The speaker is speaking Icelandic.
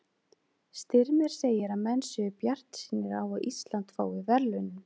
Styrmir segir að menn séu bjartsýnir á að Ísland fái verðlaunin.